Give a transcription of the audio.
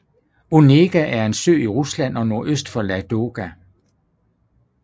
Onega er en sø i Rusland nordøst for Ladoga